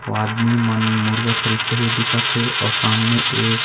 ओ आदमी मन मुर्गा खरीदते हुए दिखत हे अउ सामने एक--